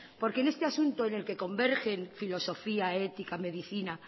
porque en este asunto en el que convergen filosofía ética medicina